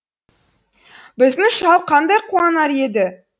біздің шал қандай қуанар еді